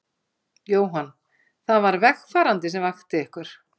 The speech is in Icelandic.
Jóhann: Það var vegfarandi sem vakti ykkur?